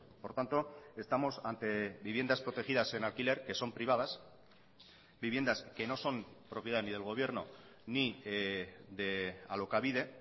por tanto estamos ante viviendas protegidas en alquiler que son privadas viviendas que no son propiedad ni del gobierno ni de alokabide